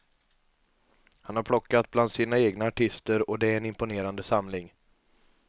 Han har plockat bland sina egna artister och det är en imponerande samling.